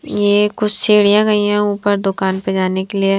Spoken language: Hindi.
ये कुछ सीढ़ियां गई हैं ऊपर दुकान पे जाने के लिए।